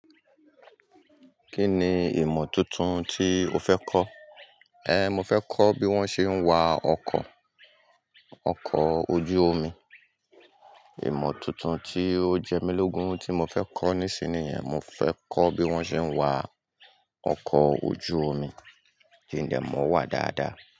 Kí ni ìmọ̀ tuntun tí o fẹ́ kọ́? Eh, mo fẹ́ kọ́ bí wón ṣe ń wa ọkọ̀, ọkọ̀ ojú omi. Ìmọ̀ tuntun tí ó jẹ́ mí lógún tí mo fẹ́ kọ́ nísin nìyẹn, mo fẹ́ kọ́ bí wón ṣe ń wa ọkọ̀ ojú omi. Kí ńdẹ̀ mọ wà dáadáa.